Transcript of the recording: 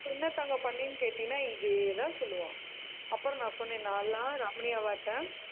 என்ன தங்கம் பண்ணின்னு கேட்டிங்கன்னா இதேதான் சொல்லுவான். அப்புறம் நான் சொன்னேன் நான் எல்லாம் ரமணி அவாட்ட